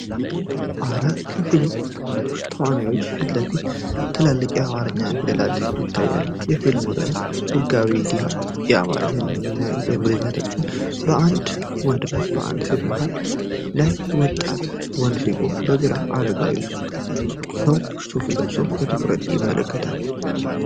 ከአራት የፊልም ተዋናዮች ፊት ለፊት ትላልቅ የአማርኛ ፊደላት ይታያሉ፤ የፊልሙም ርዕስ “ህጋዊ ዲሃ” በአማርኛና በእንግሊዝኛ ተጽፏል። በአንድ ወንድና በአንዲት ሴት መሃል ሌላ ወጣት ወንድ ሲቆም፤ በግራ አረጋዊ ሰው ሱፍ ለብሰው በትኩረት ይመለከታሉ።